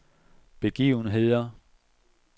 begivenheder